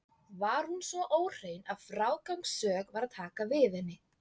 Var hún svo óhrein að frágangssök var að taka við henni.